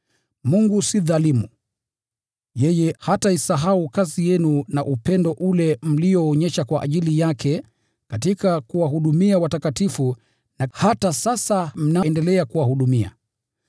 Mungu si mdhalimu: yeye hataisahau kazi yenu na upendo ule mlioonyesha kwa ajili yake katika kuwahudumia watakatifu na hata sasa mnaendelea kuwahudumia.